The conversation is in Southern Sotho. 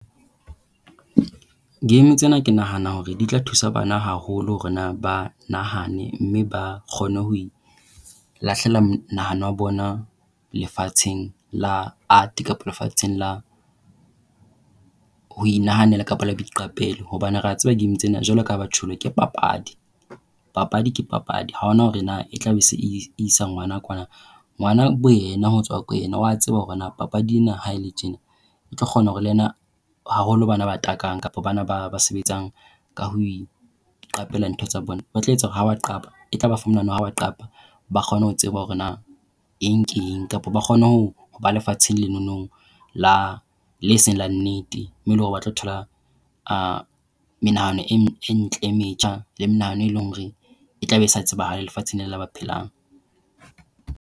Game tsena ke nahana hore di tla thusa bana haholo hore na ba nahane mme ba kgone ho lahlela monahano wa bona lefatsheng la art kapa lefatsheng la ho inahanela kapa la boiqapelo hobane re a tseba game tsena jwalo kaha ba tjholo ke papadi. Papadi ke papadi, ha hona hore na e tlabe e se isa ngwana kwana. Ngwana boyena ho tswa ko ena oa tseba hore na papadi ena ha ele tjena e tlo kgona hore le yena haholo bana ba takang kapa bana ba ba sebetsang ka ho iqapela ntho tsa bona ba tla etsa hore ha ba qapa e tla ba fa monahano wa hore ha ba qapa ba kgone ho tseba hore eng ke eng kapa ba kgone ho ho ba lefatsheng lenono la le seng le nnete, moo e leng hore o batla ho thola menahano e ntle e metjha le menahano e leng hore e tlabe se tsebahalang lefatsheng lena la ba phelang.